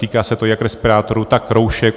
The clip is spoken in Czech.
Týká se to jak respirátorů, tak roušek.